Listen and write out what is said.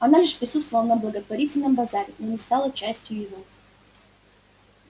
она лишь присутствовала на благотворительном базаре но не стала частью его